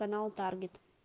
канал таргет